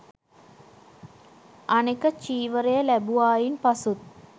අනෙක චීවරය ලැබුවායින් පසුත්